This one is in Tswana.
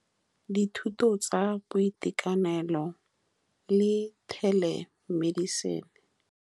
Dithuto tsa boitekanelo le telemedicine.